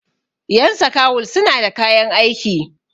yan sakawul suna da kayan aiki